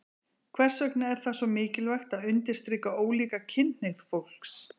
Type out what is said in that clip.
Hvers vegna er það svo mikilvægt að undirstrika ólíka kynhneigð fólks?